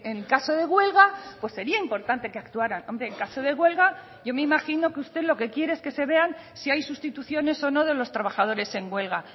en caso de huelga pues sería importante que actuaran hombre en caso de huelga yo me imagino que usted lo que quiere es que se vean si hay sustituciones o no de los trabajadores en huelga